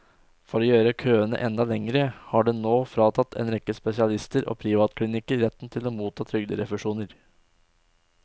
For å gjøre køene enda lengre har den nå fratatt en rekke spesialister og privatklinikker retten til å motta trygderefusjoner.